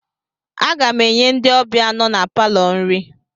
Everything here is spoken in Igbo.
Aga m enye ndị ọbịa nọ na palọ nri